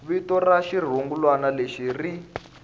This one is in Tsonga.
vito ra xirungulwana lexi ri